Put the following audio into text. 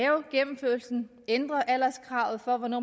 ændre alderskravet for hvornår